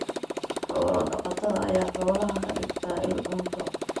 Xoolo-dhaqatada ayaa xoolaha ka dhigta il cunto.